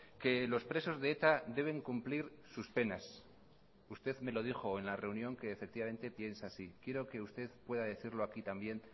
que los presos de eta deben cumplir sus penas usted me lo dijo en la reunión que efectivamente piensa así quiero que usted pueda decirlo aquí también